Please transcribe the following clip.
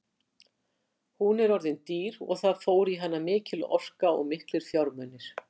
Hún er orðin dýr og það fór í hana mikil orka og miklir fjármunir.